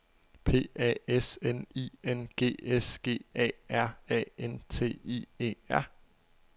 P A S N I N G S G A R A N T I E R